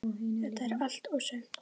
Þetta er allt og sumt